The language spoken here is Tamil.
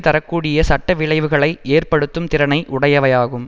தர கூடிய சட்ட விளைவுகளை ஏற்படுத்தும் திறனை உடையவை ஆகும்